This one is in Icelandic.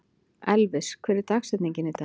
Elvis, hver er dagsetningin í dag?